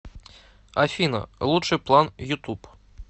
афина лучший план ютуб